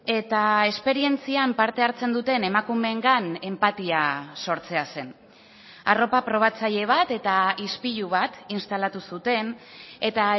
eta esperientzian parte hartzen duten emakumeengan enpatia sortzea zen arropa probatzaile bat eta ispilu bat instalatu zuten eta